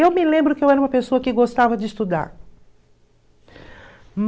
Eu me lembro que eu era uma pessoa que gostava de estudar.